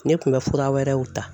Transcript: Ne kun bɛ fura wɛrɛw ta.